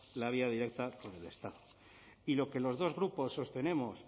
la vía directa con el estado y lo que los dos grupos sostenemos